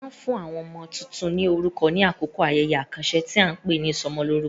A máa ń fún àwọn ọmọ tuntun ní orúkọ ní àkókò ayẹyẹ àkànṣe tí a ń pè ní ìsọmọlórúkọ.